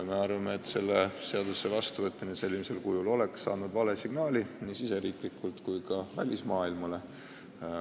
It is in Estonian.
Me arvame, et selle eelnõu vastuvõtmine sellisel kujul oleks andnud vale signaali nii riigisiseselt kui ka välismaailmale.